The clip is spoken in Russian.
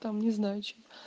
там не знаю что